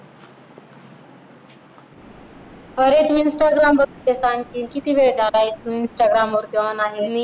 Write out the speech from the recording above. अरे तू instagram बघते आणखी किती वेळ चालायचं instagram वरती on आणि